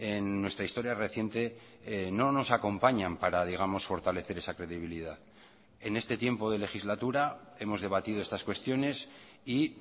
en nuestra historia reciente no nos acompañan para digamos fortalecer esa credibilidad en este tiempo de legislatura hemos debatido estas cuestiones y